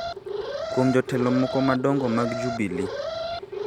kuom jotelo moko madongo mag Jubili